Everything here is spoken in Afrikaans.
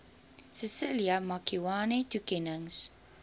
cecilia makiwane toekennings